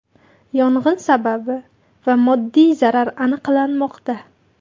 Yong‘in sababi va moddiy zarar aniqlanmoqda.